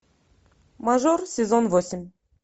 мажор сезон восемь